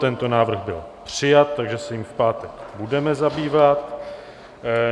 Tento návrh byl přijat, takže se jím v pátek budeme zabývat.